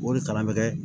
O de kalan bɛ kɛ